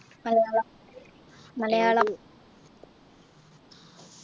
Malayalam Malayalam